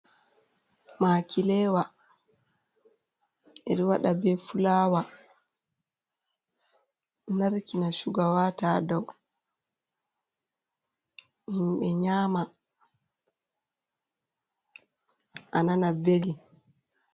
Makilewa ɓeɗo wada be fulawa, narkina shuga wata dow, himɓe nyama a nana beli.